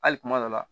Hali kuma dɔ la